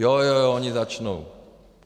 Jo, jo, jo, oni začnou.